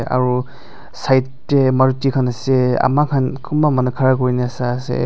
aru side teh maruti khan ase amar khan kunba manu khara kuri na sa ase.